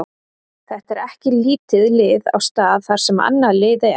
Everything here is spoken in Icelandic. Þetta er ekki lítið lið á stað þar sem annað lið er.